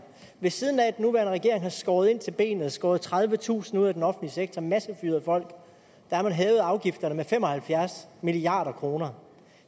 ved siden af at den nuværende regering har skåret ind til benet skåret tredivetusind ud af den offentlige sektor og massefyret folk har man hævet afgifterne med fem og halvfjerds milliard kroner